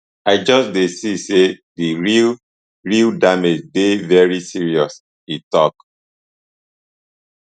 i just dey see say di real real damage dey very serious e tok